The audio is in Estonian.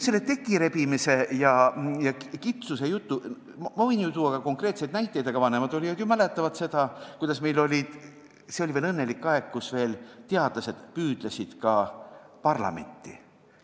Selle tekirebimise jutu kohta võin ma tuua ka konkreetseid näiteid, aga vanemad olijad ju mäletavad veel seda õnnelikku aega, kui teadlased püüdlesid ka parlamenti.